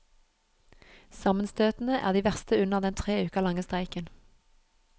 Sammenstøtene er de verste under den tre uker lange streiken.